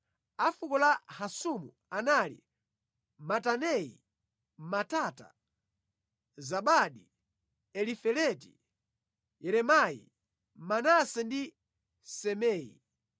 A fuko la Hasumu anali Mataneyi, Matata, Zabadi, Elifeleti, Yeremayi, Manase ndi Simei.